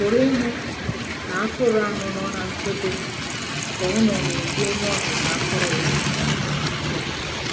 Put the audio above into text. Ị̀ pụrụ ịhụ na atụrụ ahụ nọ ná nchebe ka ọ nọ n'obi onye ọzụzụ atụrụ ya? ya?